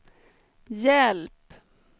hjälp